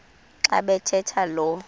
xa bathetha lo